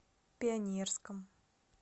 пионерском